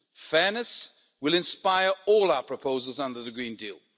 Fairness will inspire all our proposals under the Green Deal.